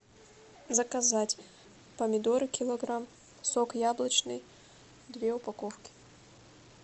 заказать помидоры килограмм сок яблочный две упаковки